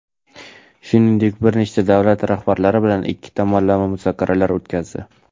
Shuningdek bir nechta davlat rahbarlari bilan ikki tomonlama muzokaralar o‘tkazdi.